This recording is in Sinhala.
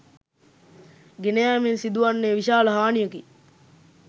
ගෙන යෑමෙන් සිදු වන්නේ විශාල හානියකි